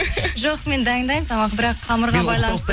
жоқ мен дайындаймын тамақ бірақ қамырға байланысты